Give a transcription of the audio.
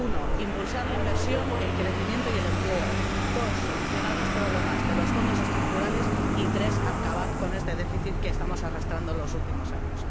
Uno, impulsar la inversión, el crecimiento y el empleo. Dos, solucionar los problemas de los Fondos Estructurales. Y tres, acabar con este déficit que estamos arrastrando en los últimos años.